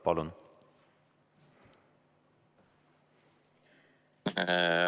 Palun!